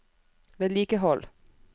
vedlikehold